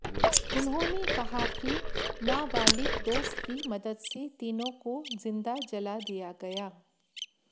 उन्होंने कहा कि नाबालिग दोस्त की मदद से तीनों को जिंदा जला दिया गया